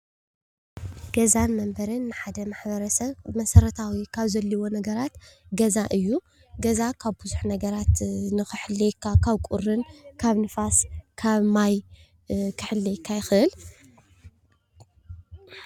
ገዛን መንበሪን ንሓደ መሓበረሰብ መሰረታዊ ካብ ዘድልዮ ነገራት ገዛ እዩ። ገዛ ካብ ብዙሕ ነገራት ክሕልወካ ካብ ቁርን፣ ካብ ንፋስ ፣ ካብ ማይ፣ ክሕልየካ ይክእል።